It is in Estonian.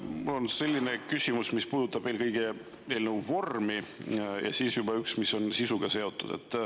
Mul on selline küsimus, mis puudutab eelkõige eelnõu vormi, ja teine, mis on juba sisuga seotud.